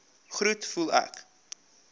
groet voel ek